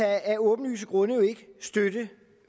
af åbenlyse grunde ikke støtte